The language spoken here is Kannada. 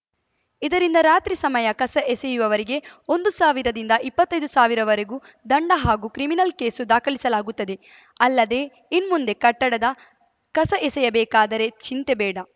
ಇದರಿಂದ ರಾತ್ರಿ ಸಮಯ ಕಸ ಎಸೆಯುವವರಿಗೆ ಒಂದು ಸಾವಿರದಿಂದ ಇಪ್ಪತ್ತೈದು ಸಾವಿರವರೆಗೂ ದಂಡ ಹಾಗೂ ಕ್ರಿಮಿನಲ್‌ ಕೇಸು ದಾಖಲಿಸಲಾಗುತ್ತದೆ ಅಲ್ಲದೆ ಇನ್ಮುಂದೆ ಕಟ್ಟಡದ ಕಸ ಎಸೆಯಬೇಕಾದರೆ ಚಿಂತೆ ಬೇಡ